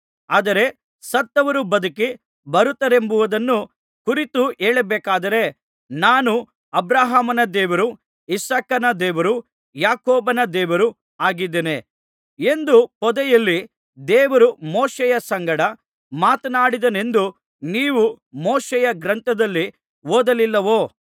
ಆದರೆ ಸತ್ತವರು ಬದುಕಿ ಬರುತ್ತಾರೆಂಬುದನ್ನು ಕುರಿತು ಹೇಳಬೇಕಾದರೆ ನಾನು ಅಬ್ರಹಾಮನ ದೇವರು ಇಸಾಕನ ದೇವರು ಯಾಕೋಬನ ದೇವರು ಆಗಿದ್ದೇನೆ ಎಂದು ಪೊದೆಯಲ್ಲಿ ದೇವರು ಮೋಶೆಯ ಸಂಗಡ ಮಾತನಾಡಿದನೆಂದು ನೀವು ಮೋಶೆಯ ಗ್ರಂಥದಲ್ಲಿ ಓದಲಿಲ್ಲವೋ